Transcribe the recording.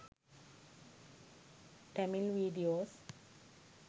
tamil videos